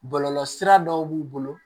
Bɔlɔlɔsira dɔw b'u bolo